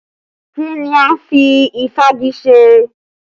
Kí ni a ń fi ìfági ṣe?